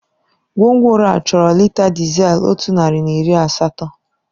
Gwongworo a chọrọ lita dizel otu narị na iri asatọ.